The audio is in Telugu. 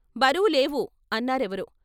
బరువు లేవు అన్నారెవరో.